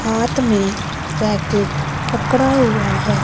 हाथ में रैकेट पकड़ा हुआ है।